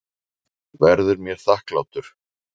Verður mér þakklátur.